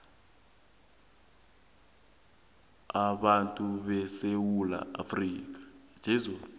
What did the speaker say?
abantu besewula afrika